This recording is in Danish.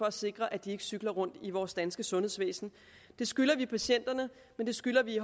at sikre at de ikke cykler rundt i vores danske sundhedsvæsen det skylder vi patienterne men det skylder vi i